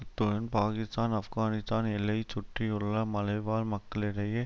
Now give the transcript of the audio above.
அத்துடன் பாக்கிஸ்தான் ஆப்கானிஸ்தான் எல்லையைச் சுற்றியுள்ள மலைவாழ் மக்களிடையே